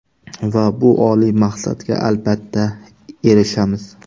Va bu oliy maqsadga albatta erishamiz.